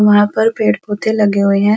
वहाँ पर पेड़-पौधे लगे हुए हैं।